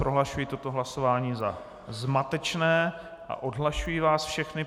Prohlašuji toto hlasování za zmatečné a odhlašuji vás všechny.